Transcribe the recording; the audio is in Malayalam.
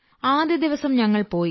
ആദ്യദിവസം ഞങ്ങൾ പോയി